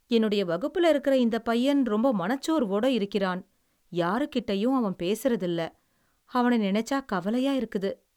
என்னுடைய வகுப்புல இருக்குற இந்தப் பையன் ரொம்ப மனச்சோர்வோட இருக்கிறான். யாருக்கிட்டயும் அவன் பேசுறதில்லை. அவன நெனச்சா கவலையா இருக்குது.